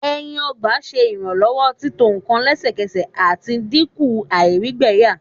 ẹyin ọgba ṣe iranlọwọ tito nkan lẹsẹsẹ, ati dinku àìrígbẹyà